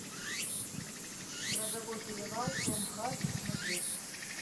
грозовой перевал том харди смотреть